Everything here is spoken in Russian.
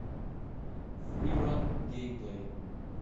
фри ран геймплей